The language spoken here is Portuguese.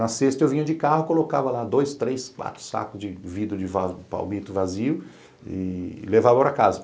Na sexta eu vinha de carro, colocava lá dois, três, quatro sacos de vidro de palmito vazio e levava para casa.